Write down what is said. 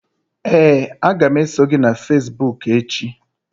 Ee, a ga m eso gị na facebook echi.